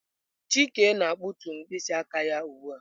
Chike na-akpụtu mkpịsị aka ya ugbu a.